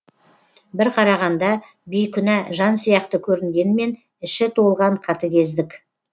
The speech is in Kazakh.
бір қарағанда бейкүнә жан сияқты көрінгенмен іші толған қатыгездік